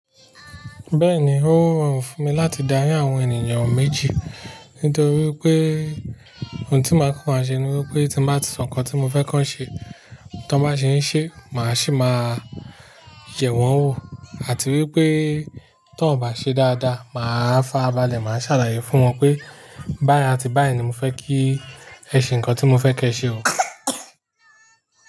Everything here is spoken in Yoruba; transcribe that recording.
Bẹ́ẹ̀ni, óroorun fún mi láti darí àwọn ènìyàn méjì nítorí pé òun tí màá kokọ́ ma ṣe ni wípé tí mba ti sọ ǹkan tí mo fẹ́ kọ́ wọn ṣe, tí wọ́n bá ṣe ń ṣe màá sì máa yẹ̀ wọ́n wò àti wípé tí wọ́n ò bá ṣe dáadáa màá fárabálẹ̀, màá sàlàyé fún wọn pé báyìí àti báyìí ni mo fẹ́ kí ẹ ṣe ǹkan tí mo fẹ́ kí ẹ ṣe o.